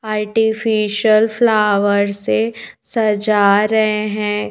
Artificial flower से सजा रहे हैं।